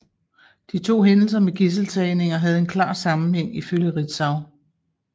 De to hændelser med gidseltagninger havde en klar sammenhæng ifølge Ritzau